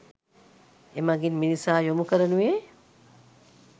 එමගින් මිනිසා යොමු කරනුයේ